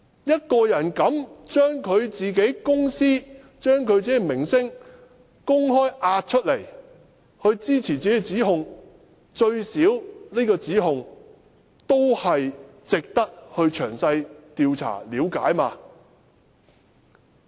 一個人勇於押上自己公司、自己的名聲出來作出指控，最低限度這個指控也值得詳細調查、了解。